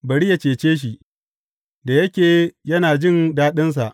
Bari yă cece shi, da yake yana jin daɗinsa.